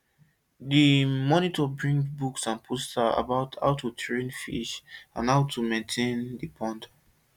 the motor bring books and posters about how to train fish and how to maintain the pond